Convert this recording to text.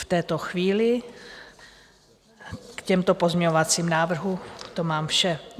V této chvíli k těmto pozměňovacím návrhům to mám vše.